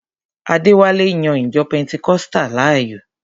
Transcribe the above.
Adéwálé yan ìjọ pẹntikọ́sítà láàyò.